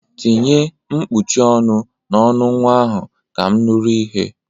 Tinye kpuchie ọnụ n'ọnụ nwa ahụ ka m nụrụ ihe!